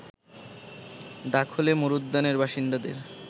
দাখলে মরুদ্যানের বাসিন্দাদের